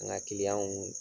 An ka